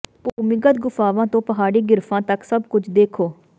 ਭੂਮੀਗਤ ਗੁਫਾਵਾਂ ਤੋਂ ਪਹਾੜੀ ਗਿਰਫਾਂ ਤੱਕ ਸਭ ਕੁਝ ਦੇਖੋ